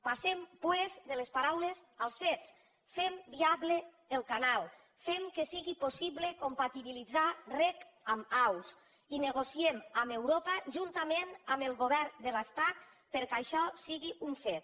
passem doncs de les paraules als fets fem viable el canal fem que sigui possible compatibilitzar rec amb aus i negociem amb europa juntament amb el govern de l’estat perquè això sigui un fet